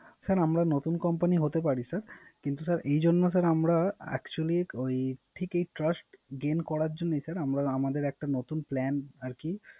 Sir আমরা নতুন Company হতে পারি Sir কিন্তু এইজন্য Sir আমরা Actually ঠিক এই Trust gain করার জন্যই Sir আমাদের একটা নতুন Plan আর কি